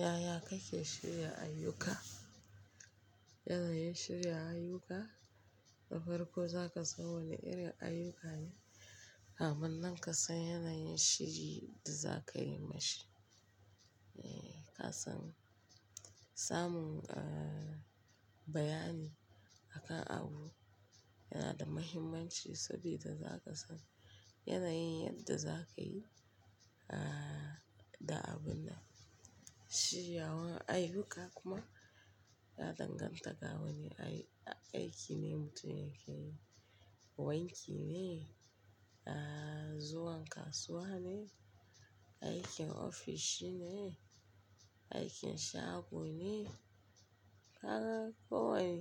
Yaya kake shirya ayyuka? Yanayin shirya ayyuka na farko za ka san wane irin ayyuka ne, kamun nan ka san yanayin shiri da za ka yi ma shi. Eh, ka san samun, uh, bayani akan abu yana da muhimmanci saboda za ka san yanayin yadda za ka yi, uh, da abun nan. Shirya wani ayyuka kuma ya danganta ga wane aiki ne mutum yake yi. Wanki ne, uh, zuwa kasuwa ne, aikin ofishi ne, aikin shago ne. Kaga ko wane,